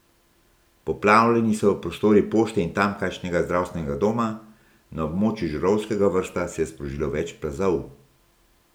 Poplavljeni so prostori pošte in tamkajšnjega zdravstvenega doma, na območju Žirovskega Vrha se je sprožilo več plazov.